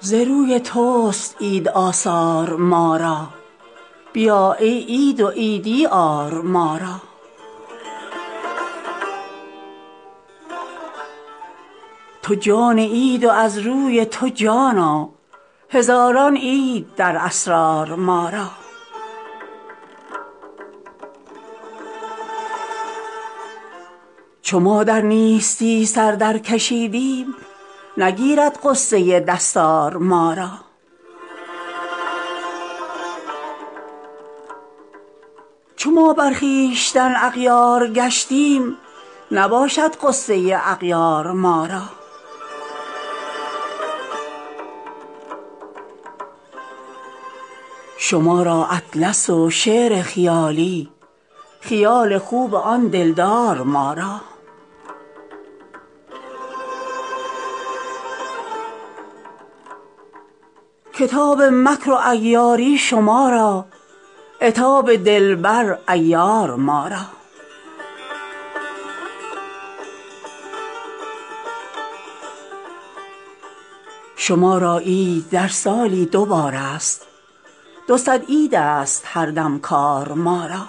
ز روی تست عید آثار ما را بیا ای عید و عیدی آر ما را تو جان عید و از روی تو جانا هزاران عید در اسرار ما را چو ما در نیستی سر درکشیدیم نگیرد غصه دستار ما را چو ما بر خویشتن اغیار گشتیم نباشد غصه اغیار ما را شما را اطلس و شعر خیالی خیال خوب آن دلدار ما را کتاب مکر و عیاری شما را عتاب دلبر عیار ما را شما را عید در سالی دو بارست دو صد عیدست هر دم کار ما را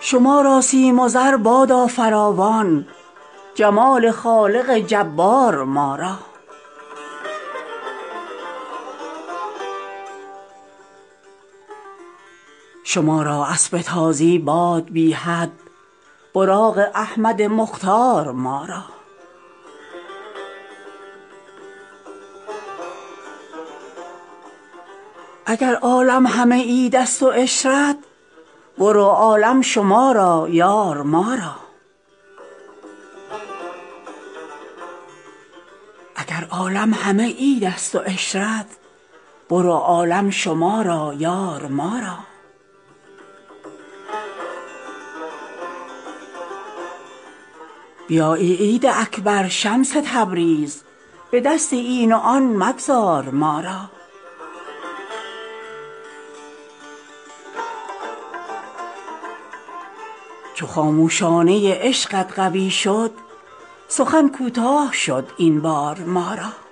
شما را سیم و زر بادا فراوان جمال خالق جبار ما را شما را اسب تازی باد بی حد براق احمد مختار ما را اگر عالم همه عیدست و عشرت برو عالم شما را یار ما را بیا ای عید اکبر شمس تبریز به دست این و آن مگذار ما را چو خاموشانه عشقت قوی شد سخن کوتاه شد این بار ما را